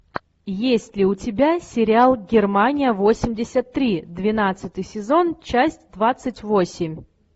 есть ли у тебя сериал германия восемьдесят три двенадцатый сезон часть двадцать восемь